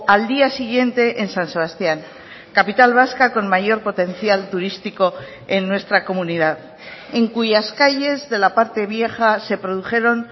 al día siguiente en san sebastián capital vasca con mayor potencial turístico en nuestra comunidad en cuyas calles de la parte vieja se produjeron